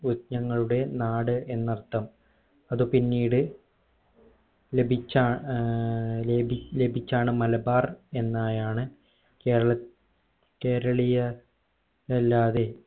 വ്യജ്ഞങ്ങളുടെ നാട് എന്നർത്ഥം അത് പിന്നീട് ലഭിച്ച ഏർ ലഭി ലഭിച്ചാണ് മലബാർ എന്നായാണ് കേരള കേരളീയ അല്ലാതെ